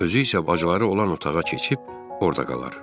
Özü isə bacıları olan otağa keçib, orda qalar.